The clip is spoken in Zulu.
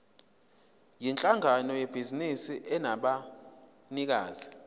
yinhlangano yebhizinisi enabanikazi